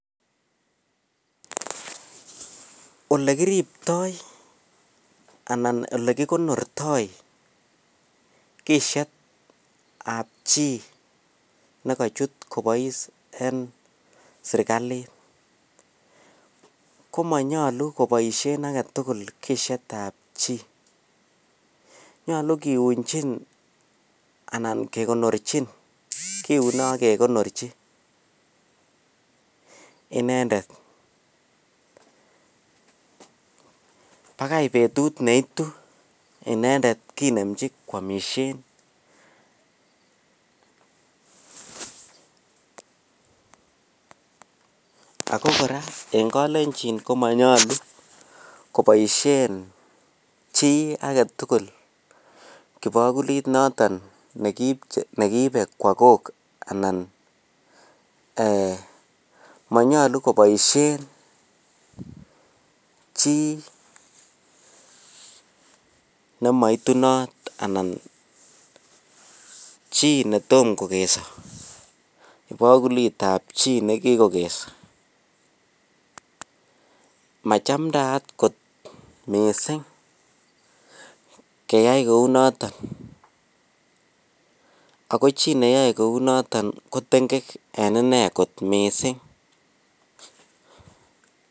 Olekiripto alaan olekikonortoi kisyetab chii nekochut kobois enserikalit komonyolu koboishen aketukul kisyetach chii, nyolu kiunjin anan kekonorchin, kiune ak kekonorchi inendet bakai betut neitu inendet kinemchi kwomishen ak ko kora en kolenjin komonyolu koboishen chii aketukul kibokulit noton nekiibe kwoo kok anan eeh monyolu koboishen chii nemoitunot anan chii netomo kokeso ibokulitab chii nekikokeso, machamdaat kot mising keyai kounoton ak ko chii neyoe kounoton ko teng'ek en inee kot mising.